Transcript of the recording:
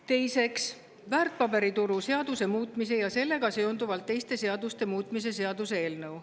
Teiseks, väärtpaberituru seaduse muutmise ja sellega seonduvalt teiste seaduste muutmise seaduse eelnõu.